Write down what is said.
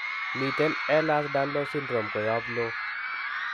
Miten Ehlers Danlos syndrome koyop loo